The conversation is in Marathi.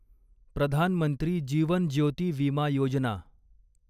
प्रधान मंत्री जीवन ज्योती विमा योजना